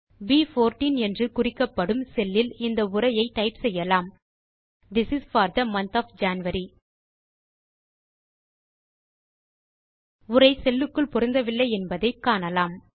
ப்14 என்று குறிக்கப்படும் செல்லில் இந்த உரையை டைப் செய்யலாம் this is for the month of January உரை செல் க்குள் பொருந்தவில்லை என்பதை காணலாம்